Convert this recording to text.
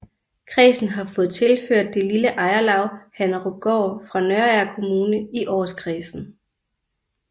Kredsen har fået tilført det lille ejerlav Hannerupgård fra Nørager Kommune i Aarskredsen